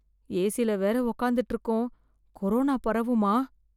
ஏசில வேற உக்காந்துட்டு இருக்கோம் கொரோனா பரவுமா.